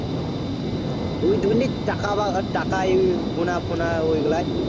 ওই ধরে নে টাকা বা টাকা গোনা ফোনা ঐগুলায়